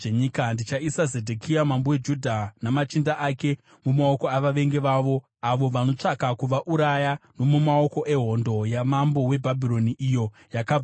“Ndichaisa Zedhekia mambo weJudha namachinda ake mumaoko avavengi vavo avo vanotsvaka kuvauraya, nomumaoko ehondo yamambo weBhabhironi, iyo yakabva kwamuri.